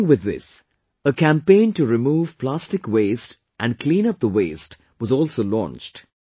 Along with this, a campaign to remove plastic waste and clean up the waste was also launched